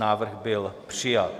Návrh byl přijat.